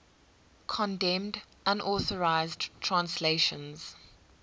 condemned unauthorized translations